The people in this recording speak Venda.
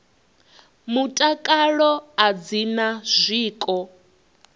mutakalo a dzi na zwiko